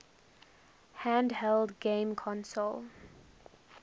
handheld game console